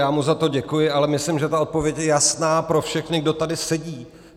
Já mu za to děkuji, ale myslím, že ta odpověď je jasná pro všechny, kdo tady sedí.